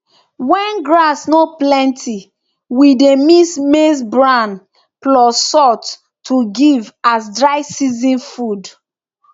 when grass no plenty we dey mix maize bran plus salt to give as dry season food